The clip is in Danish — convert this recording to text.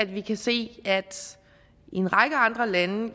vi kan se at i en række andre lande